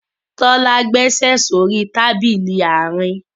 Tola gbèsè so rí Tábìlì Àárín.